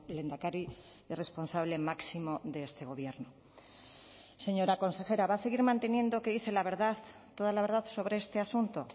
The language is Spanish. lehendakari y responsable máximo de este gobierno señora consejera va a seguir manteniendo que dice la verdad toda la verdad sobre este asunto